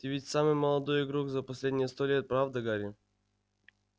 ты ведь самый молодой игрок за последние сто лет правда гарри